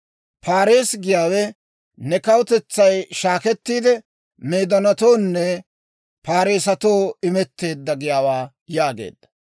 Paarees giyaawe ne kawutetsay shaakettiide, Meedoonatoonne Parssetoo imetteedda giyaawaa» yaageedda.